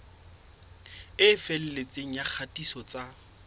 e felletseng ya kgatiso tsa